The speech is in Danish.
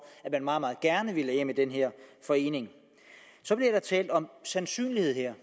at man meget meget gerne vil af med den her forening så bliver der talt om sandsynlighed her